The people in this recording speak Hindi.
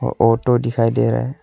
ओटो दिखाई दे रहा है।